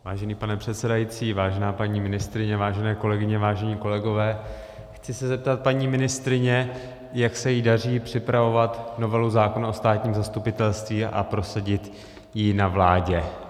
Vážený pane předsedající, vážená paní ministryně, vážené kolegyně, vážení kolegové, chci se zeptat paní ministryně, jak se jí daří připravovat novelu zákona o státním zastupitelství a prosadit ji na vládě.